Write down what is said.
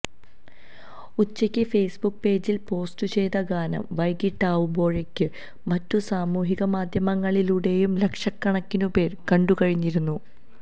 ഉച്ചയ്ക്ക് ഫെയ്സ്ബുക്ക് പേജിൽ പോസ്റ്റ്ചെയ്ത ഗാനം വൈകീട്ടാവുമ്പോഴേക്ക് മറ്റു സാമൂഹികമാധ്യമങ്ങളിലൂടെയും ലക്ഷക്കണക്കിനുപേർ കണ്ടുകഴിഞ്ഞിരുന്നു